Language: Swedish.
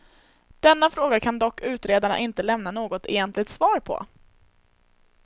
Denna fråga kan dock utredarna inte lämna något egentligt svar på.